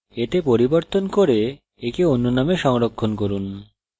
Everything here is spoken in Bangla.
এতে পরিবর্তন করুন এবং একে অন্য name সংরক্ষণ করুন